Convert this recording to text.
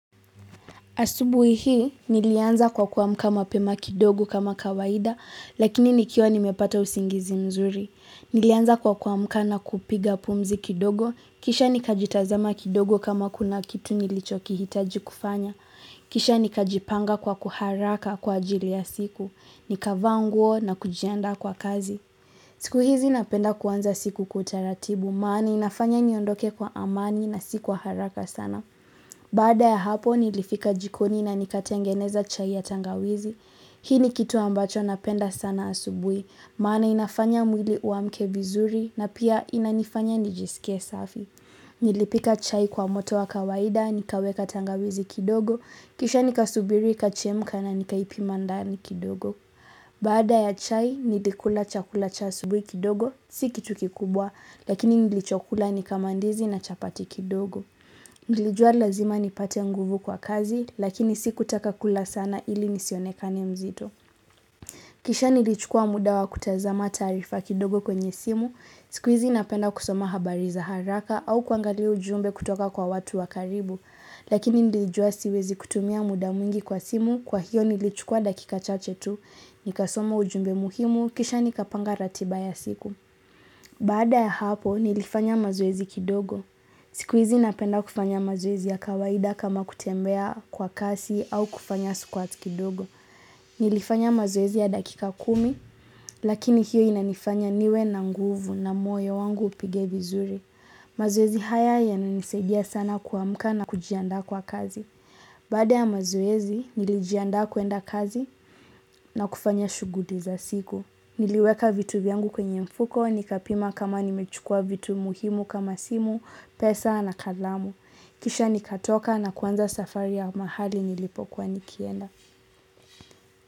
Asubuhi hii, nilianza kwa kuamka mapema kidogo kama kawaida, lakini nikiwa nimepata usingizi mzuri. Nilianza kwa kuamka na kupiga pumzi kidogo, kisha nikajitazama kidogo kama kuna kitu nilichokihitaji kufanya. Kisha nikajipanga kwa kuharaka kwa ajili ya siku, nikavaa nguo na kujiandaa kwa kazi. Siku hizi napenda kuanza siku kwa utaratibu, maana inafanya niondoke kwa amani na si kwa haraka sana. Baada ya hapo nilifika jikoni na nikatengeneza chai ya tangawizi, hii ni kitu ambacho napenda sana asubuhi, maana inafanya mwili uamke vizuri na pia inanifanya nijisikie safi. Nilipika chai kwa moto wa kawaida, nikaweka tangawizi kidogo, kisha nikasubiri, ikachemka na nikaipima ndani kidogo. Baada ya chai, nilikula chakula cha asubuhi kidogo, si kitu kikubwa, lakini nilichokula ni ka mandizi na chapati kidogo. Nilijua lazima nipate nguvu kwa kazi, lakini si kutaka kula sana ili nisionekane mzito. Kisha nilichukua muda wa kutazama taarifa kidogo kwenye simu, siku hizi napenda kusoma habari za haraka au kuangalia ujumbe kutoka kwa watu wa karibu. Lakini nilijua siwezi kutumia muda mwingi kwa simu, kwa hiyo nilichukua dakika chache tu, nikasoma ujumbe muhimu, kisha nikapanga ratiba ya siku. Baada ya hapo nilifanya mazoezi kidogo. Siku hizi napenda kufanya mazoezi ya kawaida kama kutembea kwa kasi au kufanya squat kidogo. Nilifanya mazoezi ya dakika kumi lakini hiyo inanifanya niwe na nguvu na moyo wangu upige vizuri. Mazoezi haya yananisaidia sana kuamka na kujiandaa kwa kazi. Baada ya mazoezi, nilijiandqa kuenda kazi na kufanya shughuli za siku. Niliweka vitu vyangu kwenye mfuko, nikapima kama nimechukua vitu muhimu kama simu, pesa na kalamu. Kisha nikatoka na kuanza safari ya mahali nilipokuwa nikienda.